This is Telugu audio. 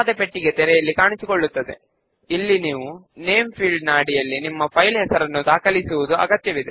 ఇప్పుడు use wizard to create form option పైన క్లిక్ చేద్దాము